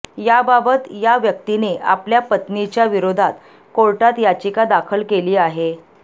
याबाबत या व्यक्तीने आपल्या पत्नीच्या विरोधात कोर्टात याचीका दाखल केली आहे